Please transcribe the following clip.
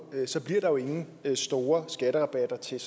så bliver der jo ingen store skatterabatter til